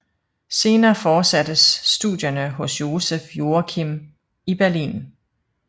Senere fortsattes studierne hos Joseph Joachim i Berlin